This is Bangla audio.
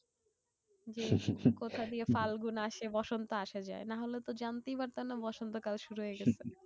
যে কোথা দিয়ে ফাল্গুন আসে বসন্ত আসে যায়? নাহলে তো জানতেই পারতাম না বসন্ত কাল শুরু হয় গেছে।